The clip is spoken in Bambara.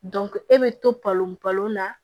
e bɛ to palon palon na